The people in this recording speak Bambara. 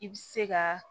I bi se ka